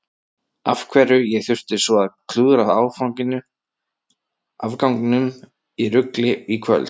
Af hverju ég þurfti svo að klúðra afganginum í rugli í kvöld.